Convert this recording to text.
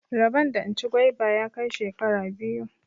Rabon da in ci gwaiba ya kai shekara biyu.